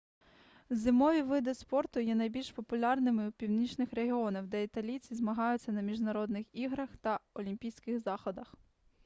зимові види спорту є найбільш популярними у північних регіонах де італійці змагаються на міжнародних іграх та олімпійських заходах